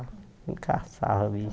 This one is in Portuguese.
caçava